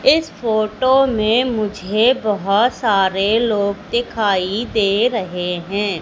इस फोटो में मुझे बहोत सारे लोग दिखाई दे रहे हैं।